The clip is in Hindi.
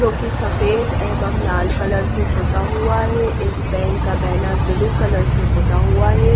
जो की सफेद एवं लाल कलर से पोता हुआ है इस बैंक का बैनर ब्लू कलर से पोता हुआ है।